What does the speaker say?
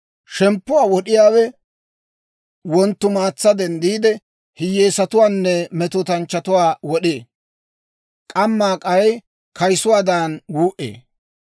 Shemppuwaa wod'iyaawe wonttumaatsa denddiide, hiyyeesatuwaanne metootanchchatuwaa wod'ee; k'amma k'ay kayisuwaadan wuu"ee.